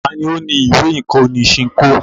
Ta ni ó ní ìwé-ìkọ́ni Ṣinkó?